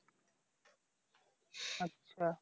আচ্ছা